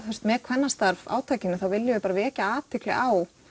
með kvennastarf átakinu þá viljum við bara vekja athygli á